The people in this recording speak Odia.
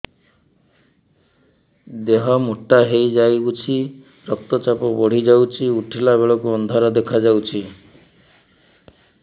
ଦେହ ମୋଟା ହେଇଯାଉଛି ରକ୍ତ ଚାପ ବଢ଼ି ଯାଉଛି ଉଠିଲା ବେଳକୁ ଅନ୍ଧାର ଦେଖା ଯାଉଛି